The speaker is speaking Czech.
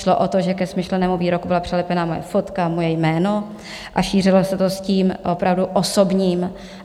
Šlo o to, že ke smyšlenému výroku byla přilepená moje fotka, moje jméno a šířilo se to s tím opravdu osobním.